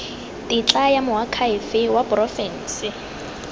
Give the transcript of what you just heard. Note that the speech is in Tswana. tetla ya moakhaefe wa porofense